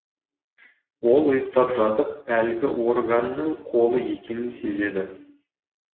ол ұйықтап жатып әлгі органның қолы екенін сезді